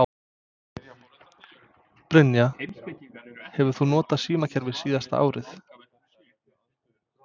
Brynja: Hefur þú notað símaklefa síðasta árið?